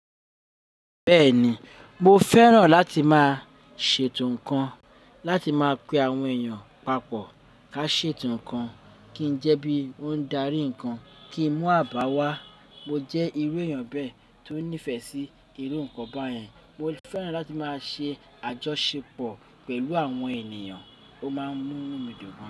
Bẹ́ẹ̀ni, mo fẹ́ràn láti máa ṣètò ǹkan, láti máa pe àwọn èèyàn papọ̀ ká ṣètò ǹkan, kí ń jẹ́ bí wọ́n ń darí ǹkan, kí ń mú àbáwá. Mo jẹ́ irú èèyàn bẹ́ẹ̀ tó nífẹ̀ẹ́ sí irú nǹkan báyen. Mo fẹ́ràn láti máa ṣe àjọṣepọ̀ pẹ̀lú àwọn ènìyàn o máa mú inú mi dùn gan.